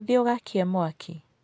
Thiĩ ũgakie mwaki.